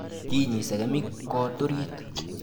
Kinyi segemik koot oriit